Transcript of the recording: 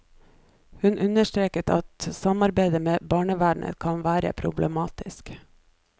Hun understreker at samarbeid med barnevernet kan være problematisk.